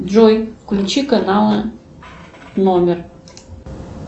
джой включи каналы номер